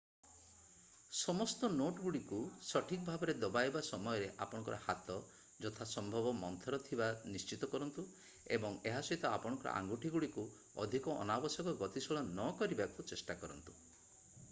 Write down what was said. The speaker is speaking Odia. ସମସ୍ତ ନୋଟଗୁଡ଼ିକୁ ସଠିକ୍ ଭାବରେ ଦବାଇବା ସମୟରେ ଆପଣଙ୍କ ହାତ ଯଥା ସମ୍ଭବ ମନ୍ଥର ଥିବା ନିଶ୍ଚିତ କରନ୍ତୁ ଏବଂ ଏହା ସହିତ ଆପଣଙ୍କ ଆଙ୍ଗୁଠିଗୁଡ଼ିକୁ ଅଧିକ ଅନାବଶ୍ୟକ ଗତିଶୀଳ ନକରିବାକୁ ଚେଷ୍ଟା କରନ୍ତୁ